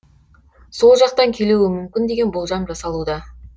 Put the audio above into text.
сол жақтан келуі мүмкін деген болжам жасалуда